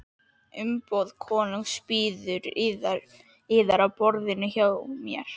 Umboð konungs bíður yðar á borðinu hjá mér.